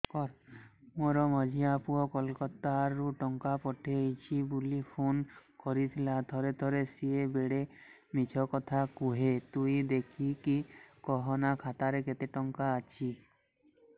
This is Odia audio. ମୋର ମଝିଆ ପୁଅ କୋଲକତା ରୁ ଟଙ୍କା ପଠେଇଚି ବୁଲି ଫୁନ କରିଥିଲା ଥରେ ଥରେ ସିଏ ବେଡେ ମିଛ କଥା କୁହେ ତୁଇ ଦେଖିକି କହନା ଖାତାରେ କେତ ଟଙ୍କା ଅଛି